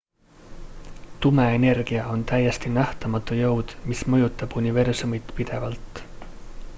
tume energia on täiesti nähtamatu jõud mis mõjutab universumit pidevalt